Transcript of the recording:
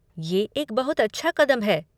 ये एक बहुत अच्छा कदम है।